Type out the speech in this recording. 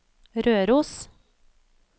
Røros